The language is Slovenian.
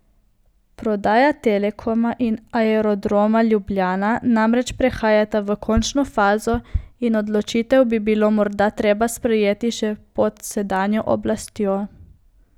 Prodaja Telekoma in Aerodroma Ljubljana namreč prehajata v končno fazo in odločitev bi bilo morda treba sprejeti še pod sedanjo oblastjo.